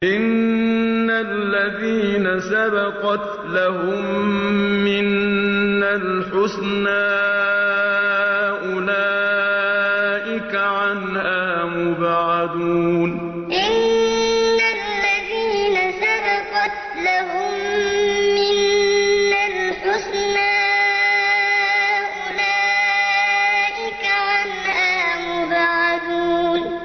إِنَّ الَّذِينَ سَبَقَتْ لَهُم مِّنَّا الْحُسْنَىٰ أُولَٰئِكَ عَنْهَا مُبْعَدُونَ إِنَّ الَّذِينَ سَبَقَتْ لَهُم مِّنَّا الْحُسْنَىٰ أُولَٰئِكَ عَنْهَا مُبْعَدُونَ